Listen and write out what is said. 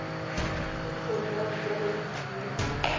tekisontle ya dijalo le dikumo